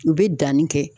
U bɛ danni kɛ